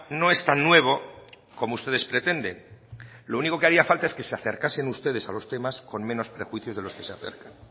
no es tan nuevo como ustedes pretenden lo único que haría falta es que se acercasen ustedes a los temas con menos prejuicios de los que se acercan